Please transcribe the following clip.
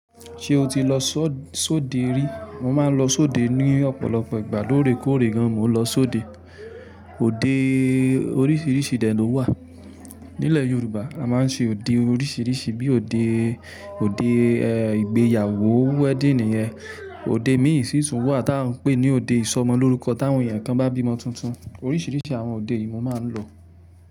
Ṣé o ti lọ só-sode rí? Mo máa ń lọ sóde ní ọ̀pọ̀lọpọ̀ ìgbà. Lóorèkoórè gan, mo n lọ sóde. Ode oríṣiríṣi dẹ̀ ló wà. Nílẹ̀ Yorùbá, a máa ń ṣe òde oríṣiríṣi bí i òde, òde ẹ, ìgbéyàwó, wedding nìyẹn. Òde míì sì tún wà tí à ń pè ní òde ìsọmọlórúkọ táwọn èèyàn kan bá bímọ tuntun. Oríṣiríṣi àwọn òde yìí mo máa ń lọ.